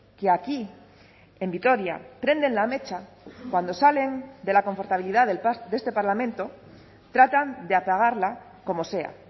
partidos que aquí en vitoria prenden la mecha cuando salen de la confortabilidad de este parlamento tratan de apagarla como